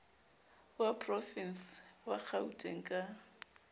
wa porovense wa kgauteng ka